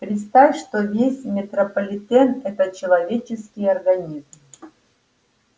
представь что весь метрополитен это человеческий организм